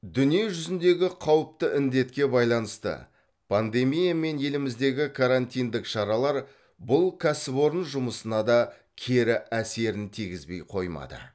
дүние жүзіндегі қауіпті індетке байланысты пандемия мен еліміздегі карантиндік шаралар бұл кәсіпорын жұмысына да кері әсерін тигізбей қоймады